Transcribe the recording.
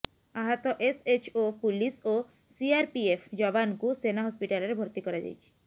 ଆହତ SHO police ଓ CRPF ଯବାନଙ୍କୁ ସେନା ହସ୍ପିଟାଲରେ ଭର୍ତ୍ତି କରାଯାଇଛି